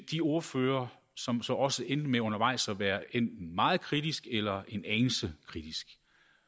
de ordførere som så også endte med undervejs at være enten meget kritiske eller en anelse kritiske